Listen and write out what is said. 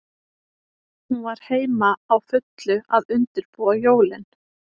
Hún var heima, á fullu að undirbúa jólin.